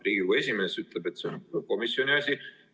Riigikogu esimees ütleb, et see on komisjoni asi.